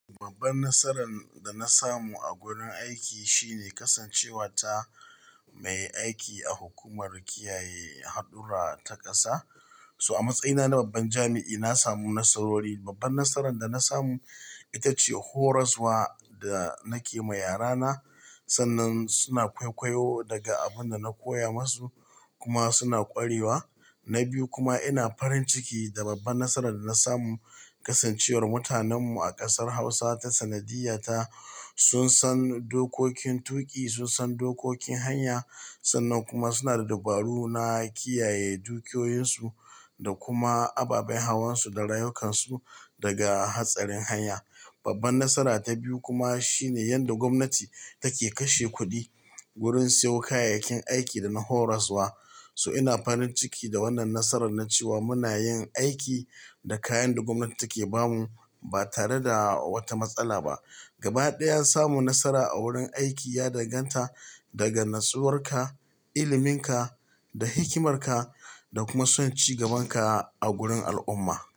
Babban nasaran da na samu a gurin aiki shine kasancewa ta mai aiki a hukumar kiyaye hadurra ta ƙasa. So a matsayina na babban jami'i, na samu nasarori. Babban nasaran da na samu ita ce horaswa da nake ma yarana. Sannan suna kwaikwayo daga abin da na koya masu kuma suna kwarewa. Na biyu kuma ina farin ciki da babban nasaran da na samu, kasancewar mutanenmu a ƙasar Hausa ta sanadiyya ta, sun san dokokin tuƙi, sun san dokokin hanya. Sannan kuma suna da dabaru na kiyaye dukiyoyinsu da kuma ababen hawansu da rayukansu daga hatsarin hanya. Babban nasara ta biyu kuma shine yadda gwamnati take kashe kuɗi wurin siyo kayayyakin aiki da na horaswa. So ina farin ciki da wannan nasarar na cewa muna yin aiki da kayan da gwamnati take ba mu ba tare da wata matsala ba. Gabaɗaya, samu nasara a wurin aiki ya danganta daga natsuwarka, iliminka da hikimarka da kuma son cigabanka a gurin al'umma.